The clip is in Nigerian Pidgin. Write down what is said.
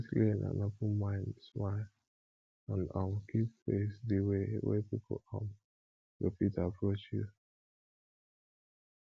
get clean and open mind smile and um keep face di way wey pipo um go fit approach you